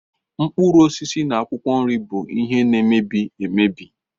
Mkpụrụ osisi na akwụkwọ nri bụ ihe na-emebi emebi.